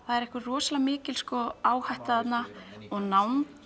það er einhver rosalega mikil áhætta þarna og nánd